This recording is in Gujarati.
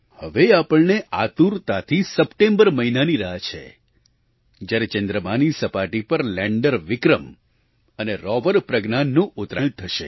હવે આપણને આતુરતાથી સપ્ટેમ્બર મહિનાની રાહ છે જ્યારે ચંદ્રમાની સપાટી પર લેન્ડર વિક્રમ અને રૉવરપ્રજ્ઞાનનું ઉતરાણ થશે